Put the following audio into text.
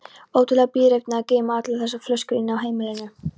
Ótrúleg bíræfni að geyma allar þessar flöskur inni á heimilinu.